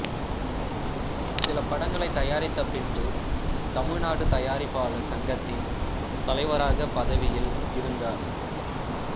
சில படங்களை தயாரித்த பின்பு தமிழ்நாடு தயாரிப்பாளர் சங்கத்தின் தலைவராக பதவியில் இருந்தார்